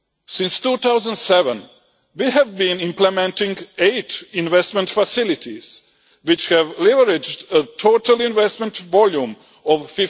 Since 2007 we have been implementing eight investment facilities which have leveraged a total investment volume of EUR